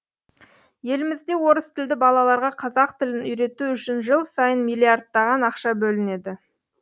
елімізде орыс тілді балаларға қазақ тілін үйрету үшін жыл сайын миллиардтаған ақша бөлінеді